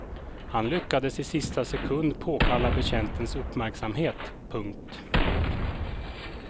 Han lyckades i sista sekund påkalla betjäntens uppmärksamhet. punkt